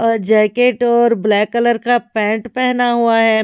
Jacket और black colour का pant पहना हुआ है।